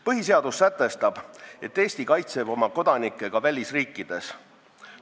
Põhiseadus sätestab, et Eesti kaitseb oma kodanikke ka välisriikides.